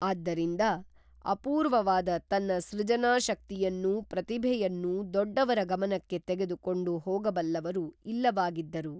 ಆದ್ದರಿಂದ ಅಪೂರ್ವವಾದ ತನ್ನ ಸೃಜನಾಶಕ್ತಿಯನ್ನೂ ಪ್ರತಿಭೆಯನ್ನೂ ದೊಡ್ಡವರ ಗಮನಕ್ಕೆ ತೆಗೆದು ಕೊಂಡು ಹೋಗಬಲ್ಲವರು ಇಲ್ಲವಾಗಿದ್ದರು